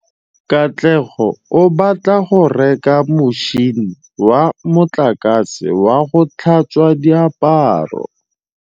Katlego o batla go reka motšhine wa motlakase wa go tlhatswa diaparo.